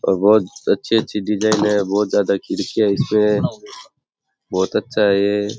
ओर बहुत अच्छी अच्छी डिजाइन है बहुत ज्यादा खिड़कियां है इसपे बहुत अच्छा है।